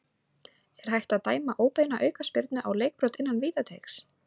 Er hægt að dæma óbeina aukaspyrnu á leikbrot innan vítateigs?